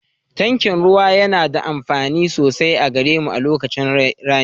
Tankin ruwa yana da amfani sosai a gare mu a lokacin rani